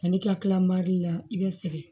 Ani i ka kila la i bɛ segin